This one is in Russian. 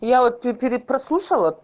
я вот тут перепрослушала